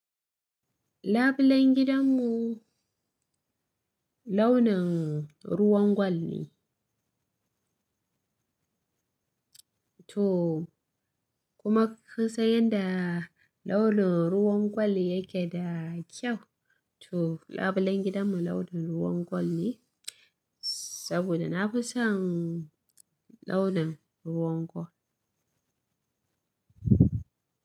Labulen gidanmu launin ruwan gwal ne. To kuma kinsan yanda launin ruwan gwal yake da kyau. To labulen gidanmu launin ruwan gwal ne, saboda na fi son launin ruwan gwal.